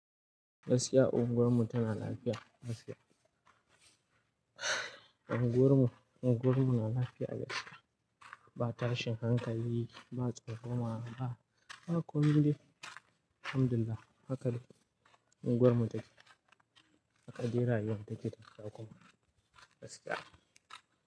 Gaskiya unguwarmu tana lafiya gaskiya. Unguwarmu, unguwarmu na lafiya gaskiya. Ba tashin hankali, ba tsokana ba, ba komai dai. Alhamdulillah haka unguwarmu take. Haka dai rayuwan take da kyau kuma gaskiya.